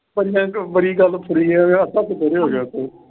ਚ ਬੜੀ ਗੱਲ ਤੁਰੀ ਆ ਵੀ ਹੱਸ ਹੱਸ ਦੂਹਰੇ ਹੋ ਗਏ ਉੱਥੇ।